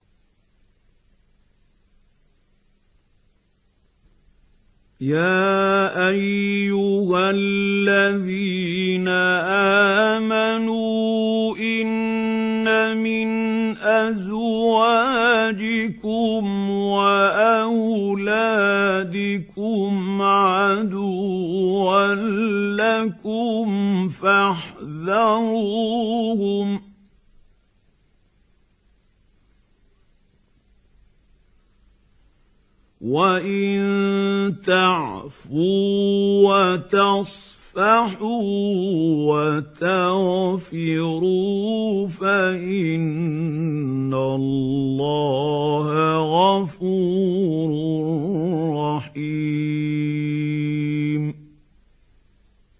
يَا أَيُّهَا الَّذِينَ آمَنُوا إِنَّ مِنْ أَزْوَاجِكُمْ وَأَوْلَادِكُمْ عَدُوًّا لَّكُمْ فَاحْذَرُوهُمْ ۚ وَإِن تَعْفُوا وَتَصْفَحُوا وَتَغْفِرُوا فَإِنَّ اللَّهَ غَفُورٌ رَّحِيمٌ